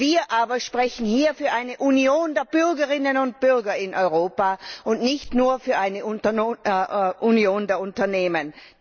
Wir aber sprechen hier für eine Union der Bürgerinnen und Bürger in Europa, und nicht nur für eine Union der Unternehmen!